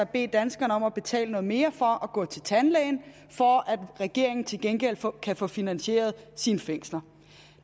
bede danskerne om at betale noget mere for at gå til tandlægen for at regeringen til gengæld kan få finansieret sine fængsler